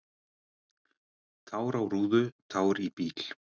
"""Tár á rúðu, tár í bíl."""